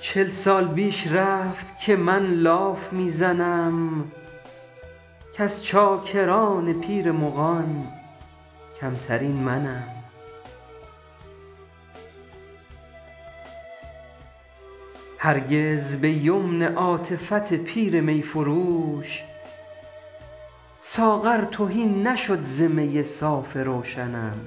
چل سال بیش رفت که من لاف می زنم کز چاکران پیر مغان کمترین منم هرگز به یمن عاطفت پیر می فروش ساغر تهی نشد ز می صاف روشنم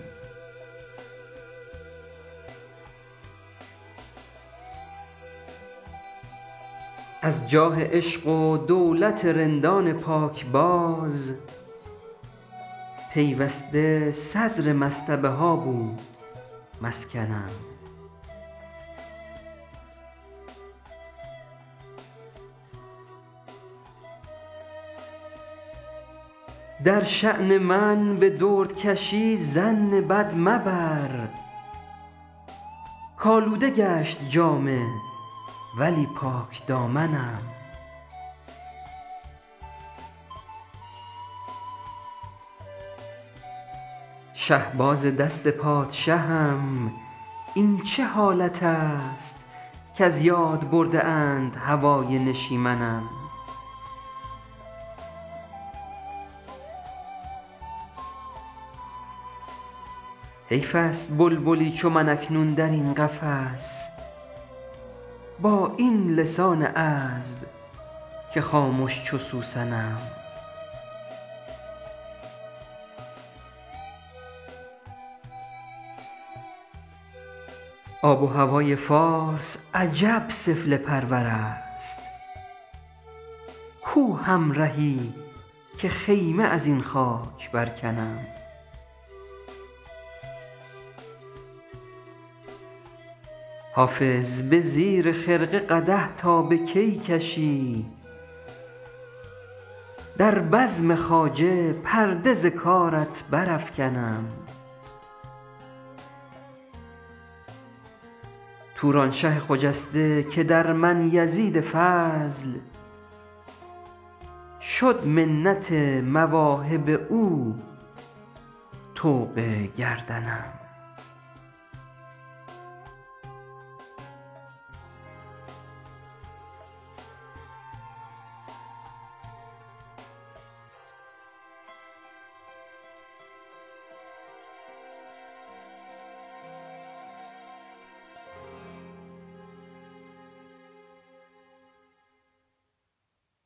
از جاه عشق و دولت رندان پاکباز پیوسته صدر مصطبه ها بود مسکنم در شان من به دردکشی ظن بد مبر کآلوده گشت جامه ولی پاکدامنم شهباز دست پادشهم این چه حالت است کز یاد برده اند هوای نشیمنم حیف است بلبلی چو من اکنون در این قفس با این لسان عذب که خامش چو سوسنم آب و هوای فارس عجب سفله پرور است کو همرهی که خیمه از این خاک برکنم حافظ به زیر خرقه قدح تا به کی کشی در بزم خواجه پرده ز کارت برافکنم تورانشه خجسته که در من یزید فضل شد منت مواهب او طوق گردنم